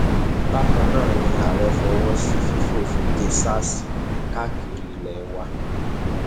bákan náà ni ààrẹ fọwọ sí fífòfin de sars káàkiri ilé wa